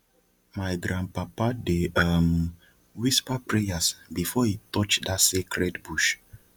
my grandpapa dey um whisper prayers before e touch dat sacred bush